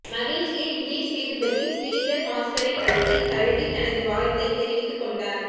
மகிழ்ச்சியில் விஜய் சேதுபதி ஶ்ரீதர் மாஸ்டரை கட்டி தழுவி தனது வாழ்த்தை தெரிவித்து கொண்டார்